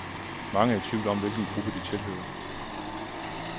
Mange er i tvivl om, hvilken gruppe de tilhører.